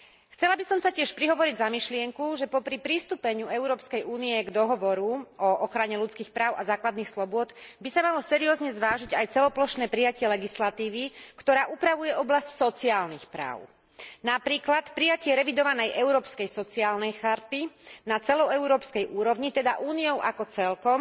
Chcela by som sa tiež prihovoriť za myšlienku, že popri pristúpení Európskej únie k Dohovoru o ochrane ľudských práv a základných slobôd by sa malo seriózne zvážiť aj celoplošné prijatie legislatívy, ktorá upravuje oblasť sociálnych práv napríklad prijatie revidovanej Európskej sociálnej charty na celoeurópskej úrovni, teda Úniou ako celkom,